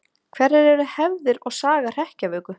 Hverjar eru hefðir og saga hrekkjavöku?